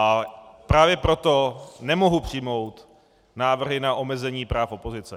A právě proto nemohu přijmout návrhy na omezení práv opozice.